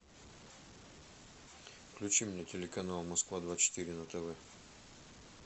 включи мне телеканал москва двадцать четыре на тв